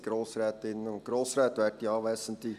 In Zusammenhang mit der Elektro-